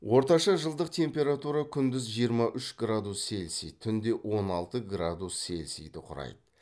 орташа жылдық температура күндіз жиырма үш градус цельсий түнде он алты градус цельсиді құрайды